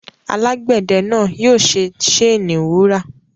Alágbẹ̀de náà yóò ṣe séènì wúrà.